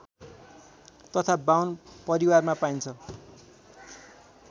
तथा बाहुन परिवारमा पाइन्छ